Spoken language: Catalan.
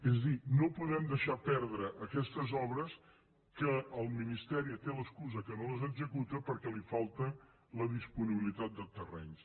és a dir no podem deixar perdre aquestes obres que el ministeri té l’excusa que no les executa perquè li falta la disponibilitat de terrenys